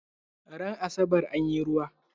Ran asabar anyi ruwa?